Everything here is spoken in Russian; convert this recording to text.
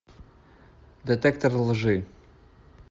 детектор лжи